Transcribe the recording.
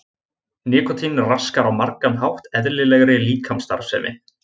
Nikótín raskar á margan hátt eðlilegri líkamsstarfsemi.